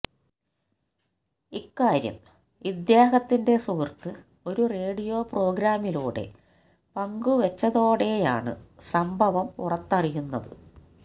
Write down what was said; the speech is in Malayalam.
ഇക്കാര്യം ഇദ്ദേഹത്തിന്റെ സുഹൃത്ത് ഒരു റേഡിയോ പ്രോഗ്രാമിലൂടെ പങ്കുവെച്ചതോടെയാണ് സംഭവം പുറത്തറിയുന്നത്